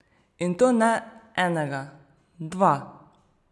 In to ne enega, dva!